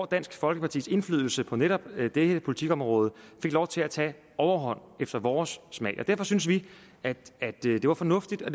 dansk folkepartis indflydelse på netop dette politikområde til lov til at tage overhånd efter vores smag derfor synes vi at det det var fornuftigt og